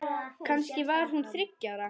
Kannski var hún þriggja ára.